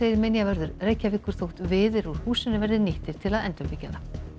minjavörður Reykjavíkur þótt viðir úr húsinu verði nýttir til að endurbyggja það